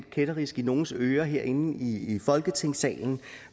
kætterisk i nogles ører herinde i folketingssalen